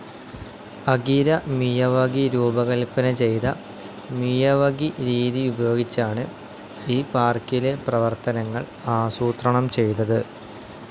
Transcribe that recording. Akira Miyawaki രൂപകൽപ്പന ചെയ്ത Miyawaki രീതി ഉപയോഗിച്ചാണ് ഈ പാർക്കിലെ പ്രവർത്തനങ്ങൾ ആസൂത്രണം ചെയ്തത്.